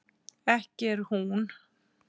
ekki er hún